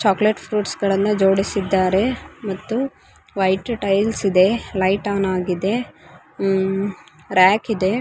Chocolate fruits ಗಳನ್ನ ಜೋಡಿಸಿದ್ದಾರೆ ಮತ್ತು ವೈಟ್ ಟೈಲ್ಸ್ ಇದೆ ಲೈಟ್ ಆನ್ ಆಗಿದೆ ಆಹ್ಹ್ ರ್‍ಯಾಕ್‌‌ ಇದೆ.